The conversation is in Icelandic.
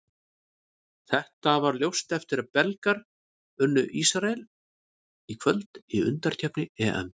Þetta varð ljóst eftir að Belgar unnu Ísrael í kvöld í undankeppni EM.